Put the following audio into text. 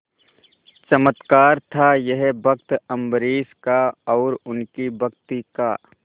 चमत्कार था यह भक्त अम्बरीश का और उनकी भक्ति का